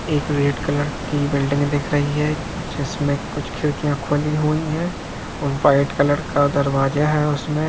एक red colour की building दिख रही हैजिसमे कुछ खिड़कियाँ खुली हुई है और वाइट कलर का दरवाजा है उसमे--